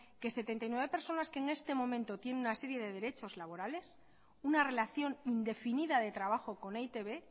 que setenta y nueve personas que en este momento tienen una serie de derechos laborales una relación indefinida de trabajo con e i te be